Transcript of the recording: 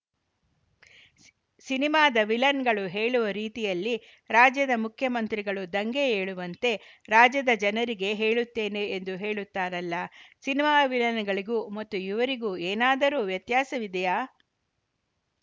C ಸಿನಿಮಾದ ವಿಲನ್‌ಗಳು ಹೇಳುವ ರೀತಿಯಲ್ಲಿ ರಾಜ್ಯದ ಮುಖ್ಯಮಂತ್ರಿಗಳು ದಂಗೆ ಏಳುವಂತೆ ರಾಜ್ಯದ ಜನರಿಗೆ ಹೇಳುತ್ತೇನೆ ಎಂದು ಹೇಳುತ್ತಾರಲ್ಲಾ ಸಿನಿಮಾ ವಿಲನ್‌ಗಳಿಗೂ ಮತ್ತು ಇವರಿಗೂ ಏನಾದರೂ ವ್ಯತ್ಯಾಸವಿದೆಯಾ